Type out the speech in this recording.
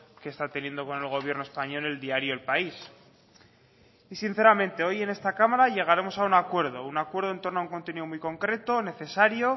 que está teniendo con el gobierno español el diario el país y sinceramente hoy en esta cámara llegaremos a un acuerdo un acuerdo en torno a un contenido muy concreto necesario